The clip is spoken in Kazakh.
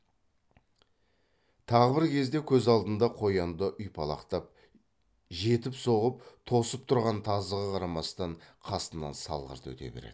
тағы бір кезде көз алдында қоянды ұйпалақтап жетіп соғып тосып тұрған тазыға қарамастан қасынан салғырт өте береді